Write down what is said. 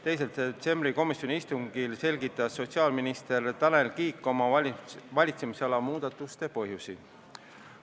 2. detsembri komisjoni istungil selgitas sotsiaalminister Tanel Kiik oma valitsemisala muudatuste põhjusi.